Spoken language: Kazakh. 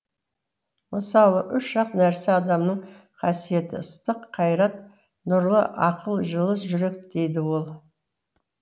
мысалы үш ақ нәрсе адамның қасиеті ыстық қайрат нұрлы ақыл жылы жүрек дейді ол